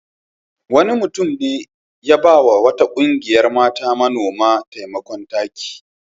Wani mutum ne ya ba wa wata ƙungiyar mata manoma taimakon taki.